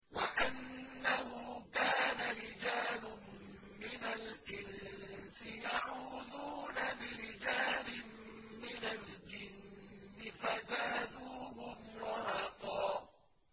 وَأَنَّهُ كَانَ رِجَالٌ مِّنَ الْإِنسِ يَعُوذُونَ بِرِجَالٍ مِّنَ الْجِنِّ فَزَادُوهُمْ رَهَقًا